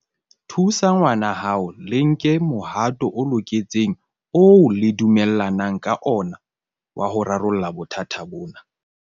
Thusa ngwanahao le nke mohato o loketseng oo le dumellanang ka ona wa ho rarolla bothata bona.